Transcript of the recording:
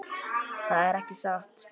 Það er ekki satt.